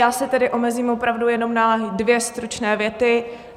Já se tedy omezím opravdu jenom na dvě stručné věty.